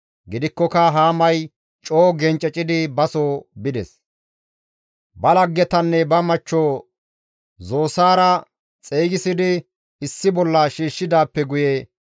Gidikkoka Haamay coo gencecidi baso bides. Ba laggetanne ba machcho Zosaara xeygisidi issi bolla shiishshidaappe guye,